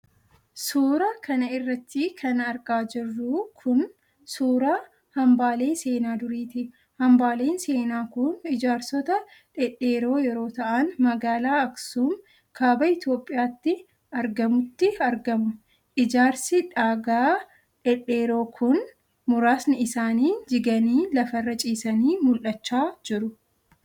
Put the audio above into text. Suura kana irratti kan argaa jirru kun, suura hambaalee seenaa duriiti. Hambaaleen seenaa kun, Ijaarsota dhedheeroo yeroo ta'an, magaalaa Aksuum ,kaaba Itoophiyaatti argamutti argamu. Ijaarsi dhagaa dhedheeroon kun, muraasni isaanii jiganii lafarra ciisanii mul'achaa jiru.